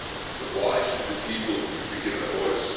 But why should the people be given a voice?